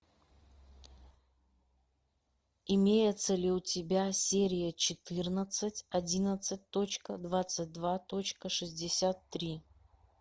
имеется ли у тебя серия четырнадцать одиннадцать точка двадцать два точка шестьдесят три